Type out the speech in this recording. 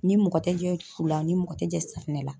Ni mɔgɔ tɛ jɛ fu la ni mɔgɔ tɛ jɛ safinɛ la.